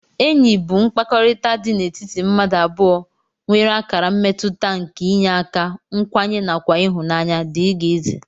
Enyi bu mkpakọrita di n'etiti mmadu abụọ nwere akara mmetuta nke iyeaka ,nkwanye nakwa ihunanya dgz.